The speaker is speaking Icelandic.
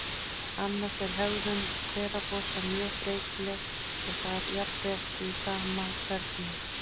Annars er hegðun hveragosa mjög breytileg og það jafnvel í sama hvernum.